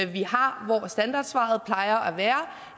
vi har hvor standardsvaret plejer at være